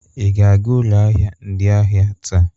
Ị ga-aga ụlọ ahịa ndị ahịa taa?